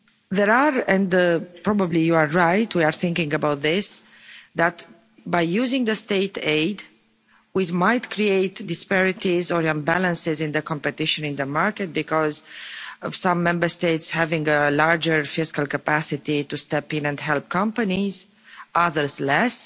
There are, and probably you are right, we are thinking about this, that by using State aid, it might create disparities or imbalances in the competition in the market because of some Member States having a larger fiscal capacity to step in and help companies, others less.